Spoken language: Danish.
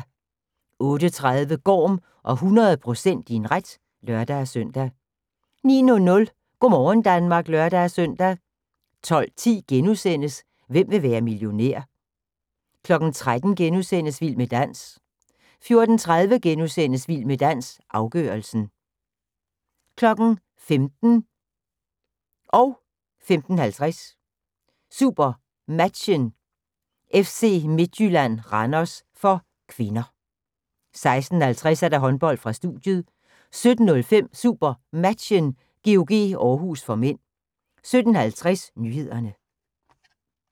08:30: Gorm og 100 % din ret (lør-søn) 09:00: Go' morgen Danmark (lør-søn) 12:10: Hvem vil være millionær? * 13:00: Vild med dans * 14:30: Vild med dans – afgørelsen * 15:00: SuperMatchen: FC Midtjylland-Randers (k) 15:50: SuperMatchen: FC Midtjylland-Randers (k) 16:50: Håndbold: Studiet 17:05: SuperMatchen: GOG-Århus (m) 17:50: Nyhederne